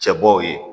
Cɛbɔw ye